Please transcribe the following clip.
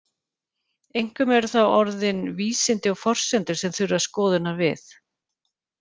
Einkum eru það orðin vísindi og forsendur sem þurfa skoðunar við.